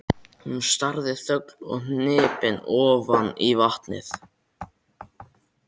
Hún starði þögul og hnípin ofan í vatnið.